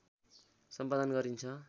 सम्पादन गरिन्छ